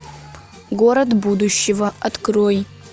город будущего открой